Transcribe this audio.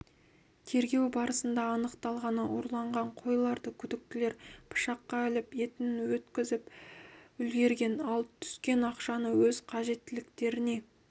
тергеу барысында анықталғаны ұрланған қойларды күдіктілер пышаққа іліп етін өткізіп үлгерген ал түскен ақшаны өз қажеттіліктеріне